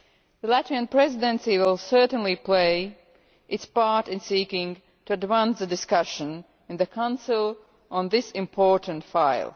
The Latvian Presidency will certainly play its part in seeking to demand a discussion in the Council on this important file.